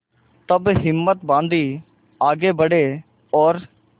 तब हिम्मत बॉँधी आगे बड़े और